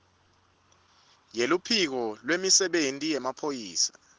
yeluphiko lwemisebenti yemaphoyisa